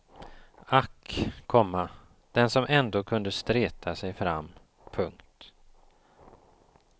Ack, komma den som ändå kunde streta sig fram. punkt